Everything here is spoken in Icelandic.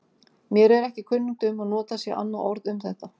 Mér er ekki kunnugt um að notað sé annað orð um þetta.